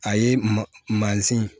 A ye masin